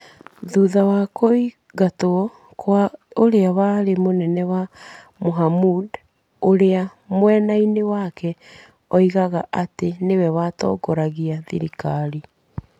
Thutha wa kũingatwo kwa ũrĩa warĩ mũnene wake- Mohamud. Ũrĩa mwena-inĩ wake oigaga atĩ nĩwe watongoragia thirikari.